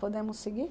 Podemos seguir?